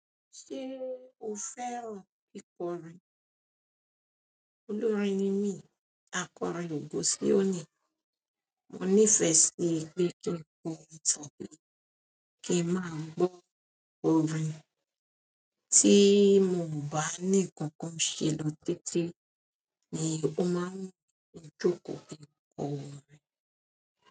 Ṣé o fẹ́ràn kíkọrin? Olórin ni mí, akọrin ògo síónì. Mo nífẹ̀ẹ́ síi pé kí n máa gbọ́ orin. Tí mo ò bá ní nǹkan kan ṣe lọ títí ni mo máa ń jókòó kí n kọ orin.